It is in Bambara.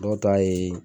Dɔw ta ye